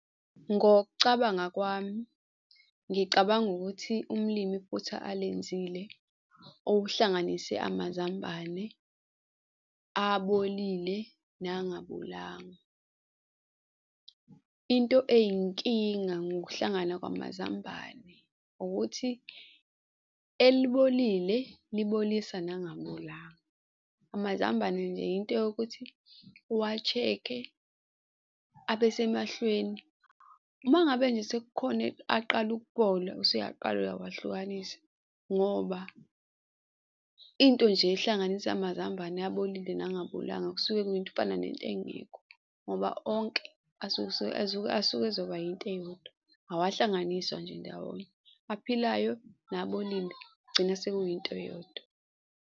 Ngokucabanga kwami, ngicabanga ukuthi umlimi iphutha alenzile okuhlanganise amazambane abolile nangabolanga. Into eyinkinga ngokuhlangana kwamazambane ukuthi elibolile libolisa nangabolanga. Amazambane nje into eyokuthi uwa-check-e abesemahlweni. Uma ngabe nje sekukhona aqala ukubola, usuyaqala uyawahlukanisi ngoba into nje ehlanganisa amazambane abolile nangabolanga, kusuke kufana nento engekho, ngoba onke asuke asuke ezoba into eyodwa. Awahlanganiswa nje ndawonye, aphilayo nabolile gcina sekuyinto eyodwa.